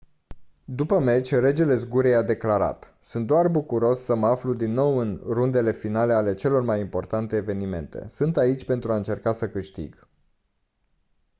după meci regele zgurei a declarat «sunt doar bucuros să mă aflu din nou în rundele finale ale celor mai importante evenimente. sunt aici pentru a încerca să câștig.».